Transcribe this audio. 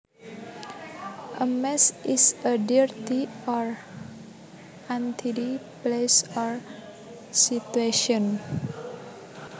A mess is a dirty or untidy place or situation